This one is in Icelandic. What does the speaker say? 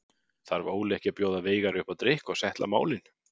Þarf Óli ekki að bjóða Veigari upp á drykk og settla málin?